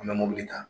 An bɛ mobili ta